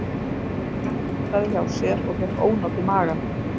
Anna punktaði hjá sér og fékk ónot í magann